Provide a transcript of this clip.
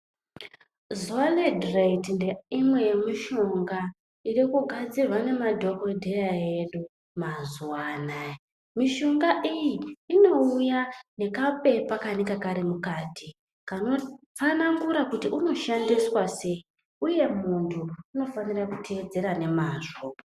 Zolidrate ndeimwe yemishonga iri kugadzirwa ngemadhokodheya edu mazuwa anaa. Mishonga iyi inouya nekapepa kanenge kari mukati kanotsanangura kuti unoshandiswa sei uye muntu unofanira kuteedzera nemazvo.